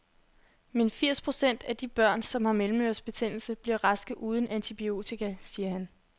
Men firs procent af de børn, som har mellemørebetændelse, bliver raske uden antibiotika, siger han.